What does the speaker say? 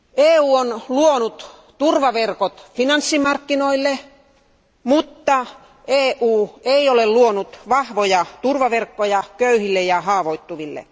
EU on luonut turvaverkot finanssimarkkinoille, mutta EU ei ole luonut vahvoja turvaverkkoja köyhille ja haavoittuville.